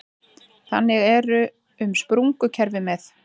Þannig er um sprungukerfi með